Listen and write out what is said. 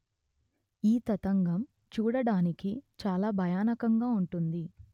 ఈ తతంగం చూడడానికి చాల భయానకంగా వుంటుంది